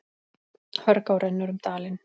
Hörgá rennur um dalinn.